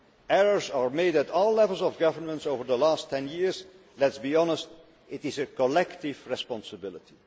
Errors were made at all levels of governance over the last ten years and, let us be honest, it is a collective responsibility.